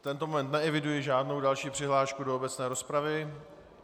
V tento moment neeviduji žádnou další přihlášku do obecné rozpravy.